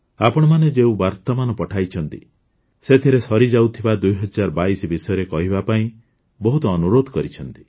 ଆପଣମାନେ ଯେଉଁ ବାର୍ତ୍ତାମାନ ପଠାଇଛନ୍ତି ସେଥିରେ ସରିଯାଉଥିବା ୨୦୨୨ ବିଷୟରେ କହିବା ପାଇଁ ବହୁତ ଅନୁରୋଧ କରିଛନ୍ତି